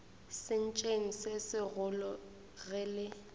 sentšeng se segolo ge le